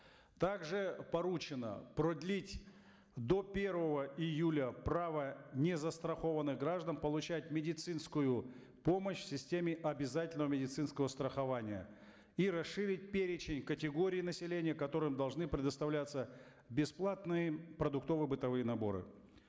также поручено продлить до первого июля право незастрахованных граждан получать медицинскую помощь в системе обязательного медицинского страхования и расширить перечень категорий населения которым должны предоставляться бесплатные продуктово бытовые наборы